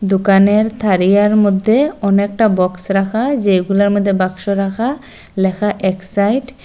দোকানের থারিয়ার মদ্যে অনেকটা বক্স রাখা যেগুলার মধ্যে বাক্স রাখা লেখা এক্সাইড ।